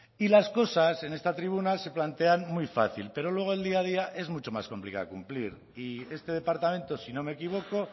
y las cosas en esta tribuna se plantean muy fácil pero luego el día a día es mucho más complicada cumplir y este departamento si no me equivoco